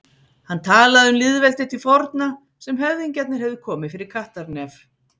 Hann talaði um lýðveldið til forna, sem höfðingjarnir hefðu komið fyrir kattarnef.